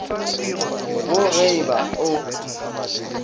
go ge e ba o